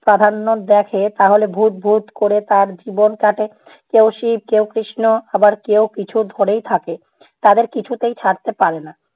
প্রাধান্য দেখে তাহলে ভূত ভূত করে তার জীবন কাটে। কেউ শিব কেউ কৃষ্ণ আবার কেউ কিছু ধরেই থাকে। তাদের কিছুতেই ছাড়তে পারে না।